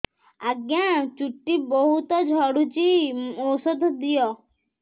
ଆଜ୍ଞା ଚୁଟି ବହୁତ୍ ଝଡୁଚି ଔଷଧ ଦିଅ